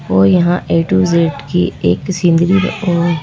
वो यहां A to Z की एक सींदली और--